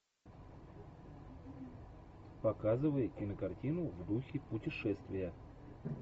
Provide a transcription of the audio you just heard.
показывай кинокартину в духе путешествия